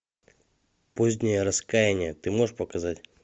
позднее раскаяние ты можешь показать